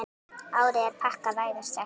Árið er pakkað, vægast sagt.